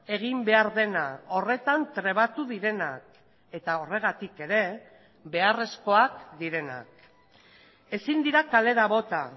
egin behar dena horretan trebatu direnak eta horregatik ere beharrezkoak direnak ezin dira kalera bota